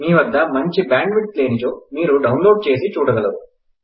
మీవద్ద మంచి bandwidth లేనిచో మీరు డౌన్ లోడ్ చేసి చూడగలరు